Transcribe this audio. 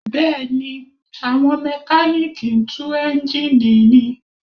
Bẹ́ẹ̀ni, àwọn Mẹkáníìkì ń tú eńjíìnì ni